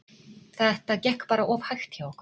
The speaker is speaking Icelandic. Þetta gekk bara of hægt hjá okkur.